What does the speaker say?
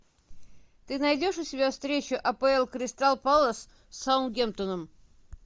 ты найдешь у себя встречу апл кристал пэлас с саутгемптоном